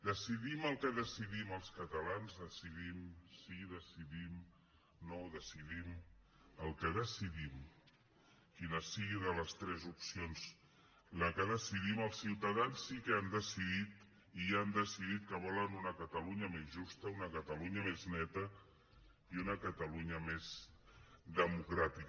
decidim el que decidim els catalans decidim sí decidim no decidim el que decidim sigui quina sigui de les tres opcions la que decidim els ciutadans sí que han decidit i han decidit que volen una catalunya més justa una catalunya més neta i una catalunya més democràtica